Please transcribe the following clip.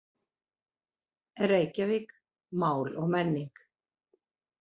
Reykjavík, Mál og menning.